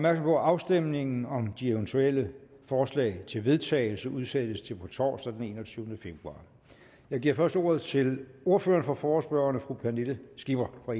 at afstemningen om de eventuelle forslag til vedtagelse udsættes til på torsdag den enogtyvende februar jeg giver først ordet til ordføreren for forespørgerne fru pernille skipper fra